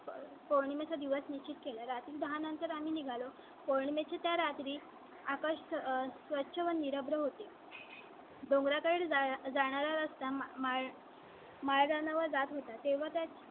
पौर्णिमे चा दिवस निश्चित केला. रात्री दहा नंतर आम्ही निघालो. पौर्णिमे च्या रात्री आकाश स्वच्छ व निरभ्र होते . डोंगरा कडे जाणारा रस्ता. माझ्या नावा जात होत्या तेव्हा त्याच